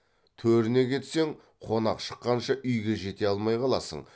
төріне кетсең қонақ шыққанша үйге жете алмай қаласың